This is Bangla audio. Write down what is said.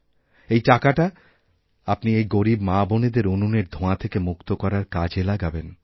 এই টাকাটা আপনি এই গরীব মাবোনেদের উনুনের ধোঁয়াথেকে মুক্ত করার কাজে লাগাবেন